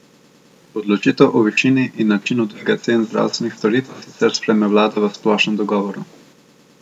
Odločitev o višini in načinu dviga cen zdravstvenih storitev sicer sprejme vlada v splošnem dogovoru.